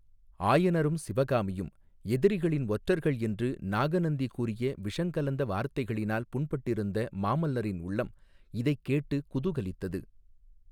ஆயனரும் சிவகாமியும் எதிரிகளின் ஒற்றர்கள் என்று நாகநந்தி கூறிய விஷங்கலந்த வார்த்தைகளினால் புண்பட்டிருந்த மாமல்லரின் உள்ளம் இதைக் கேட்டுக் குதூகலித்தது.